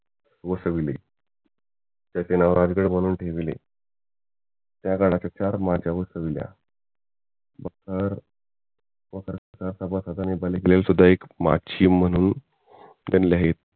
वसवली त्याचे नाव राजगड म्हणून ठेवले या गडाचे चार माज्या बसविल्या बख्तर एक माची म्हणून